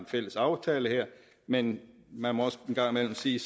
fælles aftale men man må også en gang imellem sige